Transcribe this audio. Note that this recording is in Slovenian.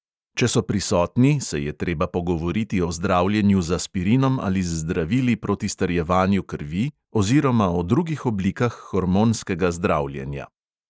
Če so prisotni, se je treba pogovoriti o zdravljenju z aspirinom ali z zdravili proti strjevanju krvi oziroma o drugih oblikah hormonskega zdravljenja.